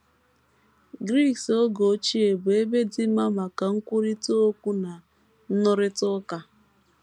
Gris oge ochie bụ ebe dị mma maka nkwurịta okwu na nrụrịta ụka.